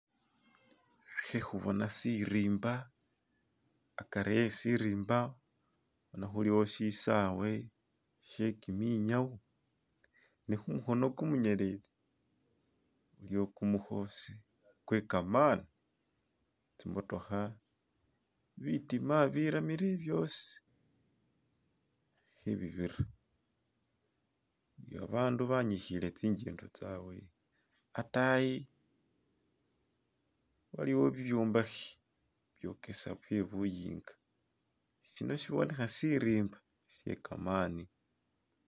Khekhubona shirimba hakari kheshirimba bona khuliwo shisawe shekiminyawo ne khumuko khumunyeletsi buliwo khumukosi kwekamani tsimotokha bitima biramile byosi khebibira ni babandu banikhile tsinjendo tsawe hatayi waliwo bibyombakhe byokesa bye buyinga shino shibonekha shirimba shekamani